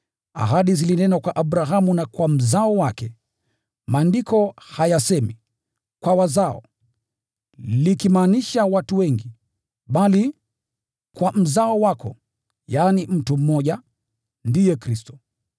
Ahadi zilinenwa kwa Abrahamu na kwa mzao wake. Maandiko hayasemi “kwa wazao,” likimaanisha watu wengi, bali “kwa mzao wako,” yaani mtu mmoja, ndiye Kristo.